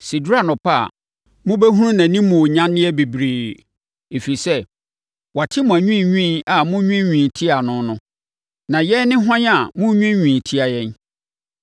Sɛ ɛduru anɔpa a, mobɛhunu nʼanimuonyanneɛ bebree; ɛfiri sɛ, wate mo anwiinwii a monwiinwii tia no no. Na yɛn ne hwan a monnwiinwii tia yɛn?